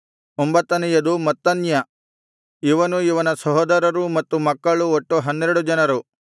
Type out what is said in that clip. ಒಂಬತ್ತನೆಯದು ಮತ್ತನ್ಯ ಇವನೂ ಇವನ ಸಹೋದರರೂ ಮತ್ತು ಮಕ್ಕಳು ಒಟ್ಟು ಹನ್ನೆರಡು ಜನರು